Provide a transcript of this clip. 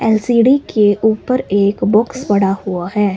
LCD के ऊपर एक बॉक्स पड़ा हुआ है।